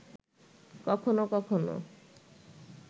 কখনো কখনো